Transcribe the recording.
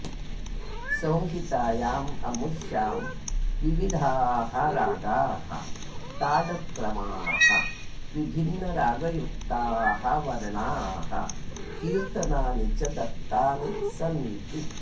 संहितायाममुष्यां विविधाः रागाः तालक्रमाः विभिन्नरागयुक्ताः वर्णाः कीर्तनानि च दत्तानि सन्ति